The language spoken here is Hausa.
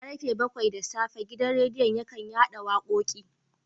Karfe bakwai da safe gidan radiyon yakan chadan da wakoki